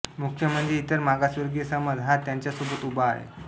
मुख्य म्हणजे इतर मागासवर्गीय समाज हा त्यांच्यासोबत उभा आहे